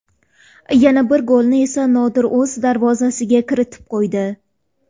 Yana bir golni esa Nodir o‘z darvozasiga kiritib qo‘ydi.